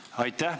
Aitäh!